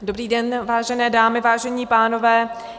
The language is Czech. Dobrý den, vážené dámy, vážení pánové.